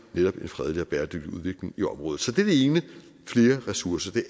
netop en fredelig og bæredygtig udvikling i området så det er det ene flere ressourcer